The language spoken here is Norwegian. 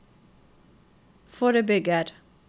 forebygger